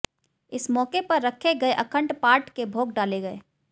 इस मौके पर रखे गए अखंड पाठ के भोग डाले गए